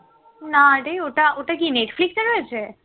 নারে ওটা ওটা কি netflix এ রয়েছে?